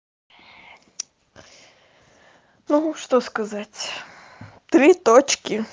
ну что сказать три точки